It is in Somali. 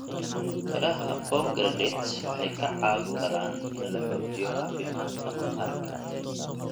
Miraha pomegranate waxay ka caawin karaan in la xoojiyo caafimaadka maqaarka.